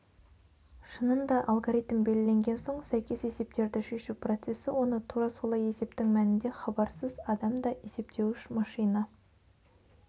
шынында алгоритм белгіленген соң сәйкес есептерді шешу процесі оны тура солай есептің мәнінде хабарсыз адам да есептеуіш машина